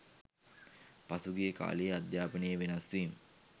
පසුගිය කාල‍යේ අධ්‍යාපනයේ වෙනස්වීම්